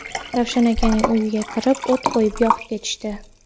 Ravshan akaning uyiga kirib, o‘t qo‘yib, yoqib ketishdi.